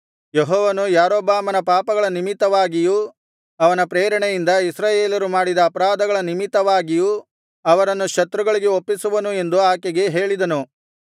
ಯೆಹೋವನು ಯಾರೊಬ್ಬಾಮನ ಪಾಪಗಳ ನಿಮಿತ್ತವಾಗಿಯೂ ಅವನ ಪ್ರೇರಣೆಯಿಂದ ಇಸ್ರಾಯೇಲರು ಮಾಡಿದ ಅಪರಾಧಗಳ ನಿಮಿತ್ತವಾಗಿಯೂ ಅವರನ್ನು ಶತ್ರುಗಳಿಗೆ ಒಪ್ಪಿಸುವನು ಎಂದು ಆಕೆಗೆ ಹೇಳಿದನು